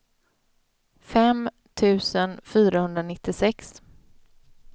fem tusen fyrahundranittiosex